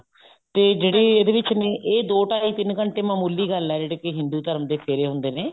ਤੇ ਜਿਹੜੇ ਇਹਦੇ ਵਿੱਚ ਨੇ ਇਹ ਦੋ ਟਾਈ ਤਿੰਨ ਘੰਟੇ ਮਾਮੂਲੀ ਗੱਲ ਹੈ ਜਿਹੜੇ ਕਿ ਹਿੰਦੂ ਧਰਮ ਦੇ ਫੇਰੇ ਹੁੰਦੇ ਨੇ